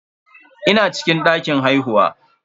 Ina cikin dakin haihuwa.